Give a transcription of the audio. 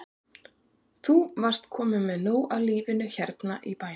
Andri Ólafsson: Þú varst kominn með nóg af lífinu hérna í bænum?